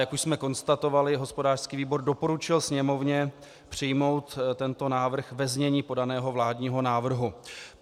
Jak už jsme konstatovali, hospodářský výbor doporučil Sněmovně přijmout tento návrh ve znění podaného vládního návrhu.